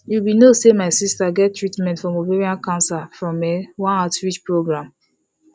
you be no say my sister get treatment from ovarian cancer from um one outreach program